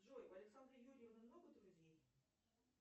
джой у александры юрьевны много друзей